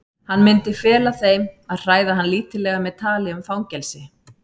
Hann myndi fela þeim að hræða hann lítillega með tali um fangelsi.